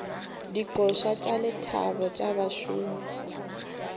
dikoša tša lethabo tša bašomi